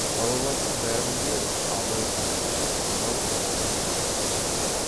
балалардың бәрін де абай қасына шақырып алып беттерінен сүйді